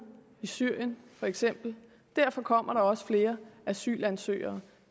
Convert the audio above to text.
i syrien for eksempel derfor kommer der også flere asylansøgere